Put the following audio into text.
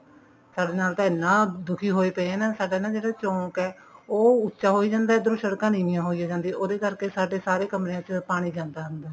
ਸਾਡੇ ਨਾਲ ਤਾਂ ਇੰਨਾ ਦੁਖੀ ਹੋਇਆ ਪਿਆ ਸਾਡਾ ਨਾ ਜਿਹੜਾ ਚੋਂਕ ਹੈ ਉਹ ਉੱਚਾ ਹੋਈ ਜਾਂਦਾ ਇੱਧਰੋਂ ਸੜਕਾਂ ਨੀਵੀਆਂ ਹੋਈ ਜਾਂਦੀਆਂ ਉਹਦੇ ਕਰਕੇ ਸਾਡੇ ਸਾਰੇ ਕਮਰਿਆਂ ਚ ਪਾਣੀ ਜਾਂਦਾ ਅੰਦਰ